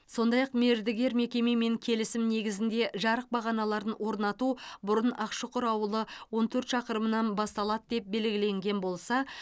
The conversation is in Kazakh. сондай ақ мердігер мекемемен келісім негізінде жарық бағаналарын орнату бұрын ақшұқыр ауылы он төрт шақырымнан басталады деп белгіленген болса